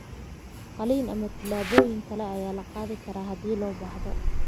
Qalliin ama tallaabooyin kale ayaa la qaadi karaa haddii loo baahdo.